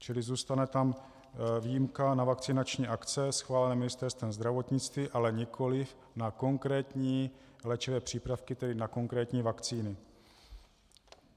Čili zůstane tam výjimka na vakcinační akce schválené Ministerstvem zdravotnictví, ale nikoliv na konkrétní léčivé přípravky, tedy na konkrétní vakcíny.